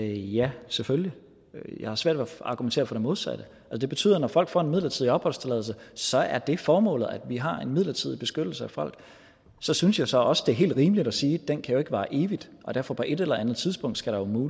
ja selvfølgelig jeg har svært ved at argumentere for det modsatte det betyder at når folk får en midlertidig opholdstilladelse så er det formålet altså at vi har en midlertidig beskyttelse af folk så synes jeg så også at det er helt rimeligt at sige at den jo ikke kan vare evigt og derfor på et eller andet tidspunkt